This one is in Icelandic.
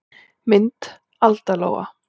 Mynd Alda Lóa.